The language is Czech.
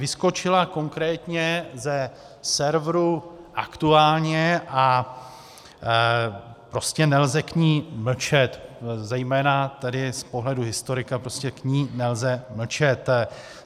Vyskočila konkrétně ze serveru Aktuálně a prostě nelze k ní mlčet, zejména tedy z pohledu historika, prostě k ní nelze mlčet.